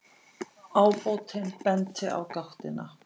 Ábótinn benti á gáttina.